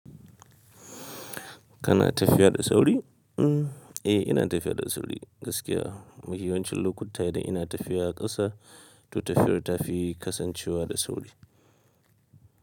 Kana tafiya da sauri? Mm, eh ina tafiya da sauri gaskiya. Mafiyanwamcin lokuta idan ina tafiya ƙasa, to tafiyar ta fi kasancewa da sauri.